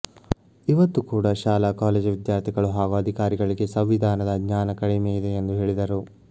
ಇವತ್ತು ಕೂಡಾ ಶಾಲಾ ಕಾಲೇಜು ವಿದ್ಯಾರ್ಥಿಗಳು ಹಾಗೂ ಅಧಿಕಾರಿಗಳಿಗೆ ಸಂವಿಧಾನದ ಜ್ಞಾನ ಕಡಿಮೆ ಇದೆ ಎಂದು ಹೇಳಿದರು